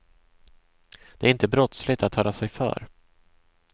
Det är inte brottsligt att höra sig för.